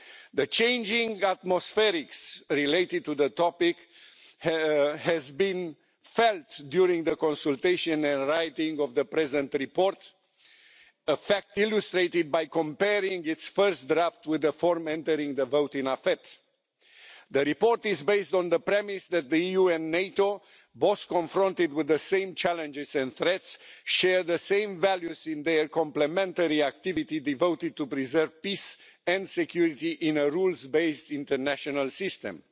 The changing atmosphere related to the topic has been felt during the consultation and writing of the present report, a fact illustrated by comparing its first draft with the version used for the vote in the Committee on Foreign Affairs. The report is based on the premise that the EU and NATO, both confronted with the same challenges and threats, share the same values in their complementary activity devoted to preserving peace and security in a rules based international system.